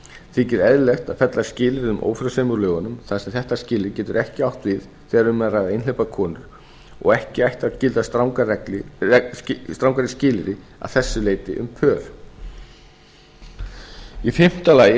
þykir eðlilegt að fella skilyrði um ófrjósemi úr lögunum þar sem þetta skilyrði getur ekki átt við þegar um er að ræða einhleypar konur og ekki ættu að gilda strangari skilyrði að þessu leyti en í fimmta lagi er